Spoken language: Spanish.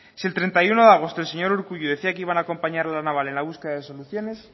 si el treinta y uno de agosto el señor urkullu decía que iban a acompañar a la naval en la búsqueda de soluciones